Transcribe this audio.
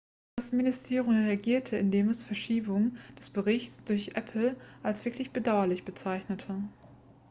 das ministerium reagierte indem es die verschiebung des berichts durch apple als wirklich bedauerlich bezeichnete